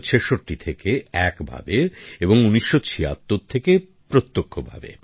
১৯৬৬ থেকে একভাবে এবং ১৯৭৬ থেকে প্রত্যক্ষভাবে